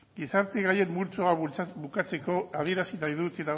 gizarte gaien multzoa bukatzeko adierazi nahi dut